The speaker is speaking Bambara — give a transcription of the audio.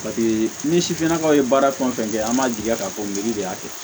ni sifinnakaw ye baara fɛn o fɛn kɛ an b'a jigiya k'a fɔ ko miiri de y'a kɛ